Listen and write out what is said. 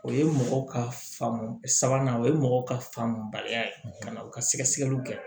O ye mɔgɔ ka faamu sabanan o ye mɔgɔ ka faamubaliya ye ka na u ka sɛgɛsɛgɛliw kɛ